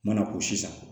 Mana k'o si san